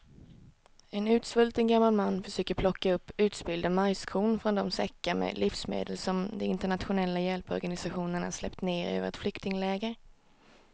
En utsvulten gammal man försöker plocka upp utspillda majskorn från de säckar med livsmedel som de internationella hjälporganisationerna släppt ner över ett flyktingläger.